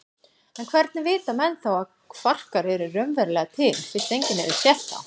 En hvernig vita menn þá að kvarkar eru raunverulega til fyrst enginn hefur séð þá?